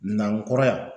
Nankura